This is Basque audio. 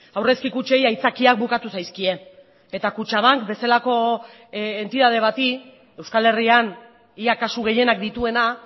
aurrezki kutxei aitzakiak bukatu zaizkie eta kutxabank bezalako entitate bati euskal herrian ia kasu gehienak dituena